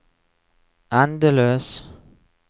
endeløs